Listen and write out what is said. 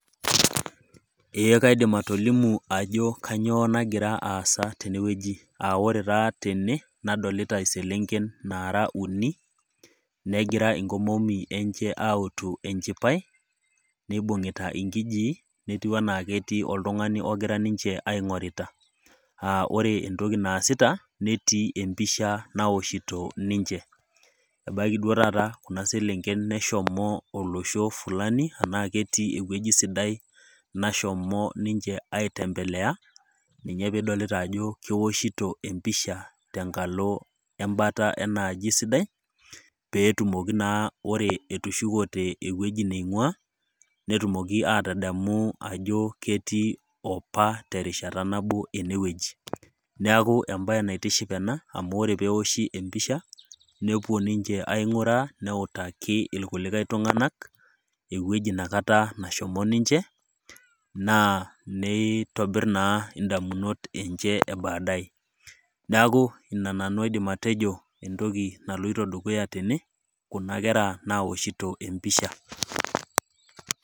Ee kaidim atolimu ajo kainyoo nagira aasa tene wueji, aa ore taata tene nadolita iselenken naara uni, negira inkomomi enye utu enchipai, neibung'ita inkijii netiu anaa ketii oltung'ani ninche aing'orta. Aa ore entokiu naasita netii empishja naoshito ninche , ebaiki duo taata kuna selenken neshomo olosho fulani anaa ketii ewueji sidai nashomo ninche aitembelea, ninye pee idolita ajo keoshito empisha te enkalo embata enaaji sidai, pee etumoki naa ore etushukote ewueji neing'ua, netumoki aatademu ajo ewueji naje ketii opa terishata nabo ene wueji. Neaku embaye naitiship emu ore pee eoshi empisha, nepuo ninche aing'uraa, neutaki ilkulikai tung'anak, ewueji nakata nashomo ninche, naa neitobir naa indamunot enye e baadaye. Neaku ina toki aidim nanu atejo naloito dukuya tene, kuna kera naoshito empisha.